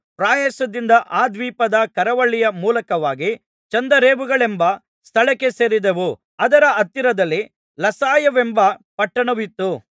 ಪ್ರಯಾಸದಿಂದ ಆ ದ್ವೀಪದ ಕರಾವಳಿಯ ಮೂಲಕವಾಗಿ ಚಂದರೇವುಗಳೆಂಬ ಸ್ಥಳಕ್ಕೆ ಸೇರಿದೆವು ಅದರ ಹತ್ತಿರದಲ್ಲಿ ಲಸಾಯವೆಂಬ ಪಟ್ಟಣವು ಇತ್ತು